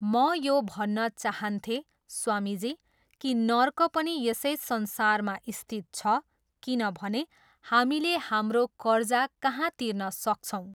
म यो भन्न चाहन्थेँ स्वामीजी, कि नर्क पनि यसै संसारमा स्थित छ, किनभने, हामीले हाम्रो कर्जा कहाँ तिर्न सक्छौँ?